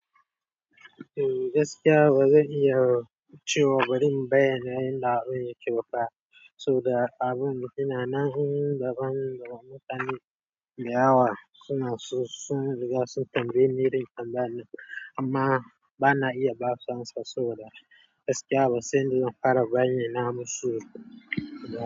Eh gaskiya bazan iya cewa bari in bayyana yanda abu yake bafa, saboda abun suna nan daban da mutane da yawa suna so sun riga sun tambayi ni, rika tambaya amma bana iya basu amsa saboda gaskiya basan yanda zan fara bayyana musu ba.